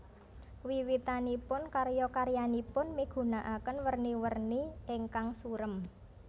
Wiwitanipun karya karyanipun migunaaken werni werni ingkang surem